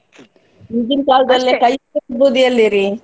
ಈಗಿನ ಎಲ್ಲಿರೀ?